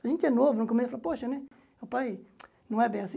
A gente é novo, no começo fala, poxa, né, papai, não é bem assim.